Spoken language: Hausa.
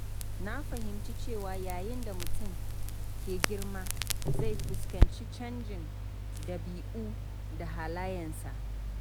Na fahimci cewa yayin da mutum ke girma, zai fuskanci canjin ɗabi'u da halayensa.